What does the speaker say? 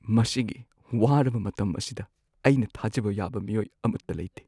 ꯃꯁꯤꯒꯤ ꯋꯥꯔꯕ ꯃꯇꯝ ꯑꯁꯤꯗ ꯑꯩꯅ ꯊꯥꯖꯕ ꯌꯥꯕ ꯃꯤꯑꯣꯏ ꯑꯃꯠꯇ ꯂꯩꯇꯦ꯫